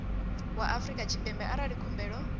wa afrika tshipembe arali khumbelo